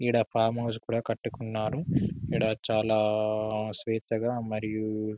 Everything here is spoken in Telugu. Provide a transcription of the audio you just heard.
ఈడ ఫారం హౌస్ కూడా కట్టుకున్నారు ఈడ చాలా స్వేచ్ఛగా మరియు